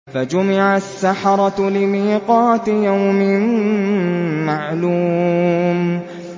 فَجُمِعَ السَّحَرَةُ لِمِيقَاتِ يَوْمٍ مَّعْلُومٍ